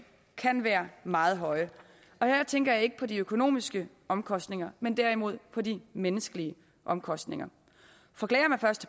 kan være meget høje og her tænker jeg ikke på de økonomiske omkostninger men derimod på de menneskelige omkostninger for klager man først